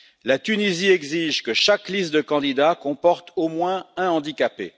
La Tunisie exige que chaque liste de candidats comporte au moins un handicapé.